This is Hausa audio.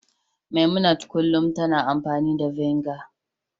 memunant kullum yana amfani da vinegar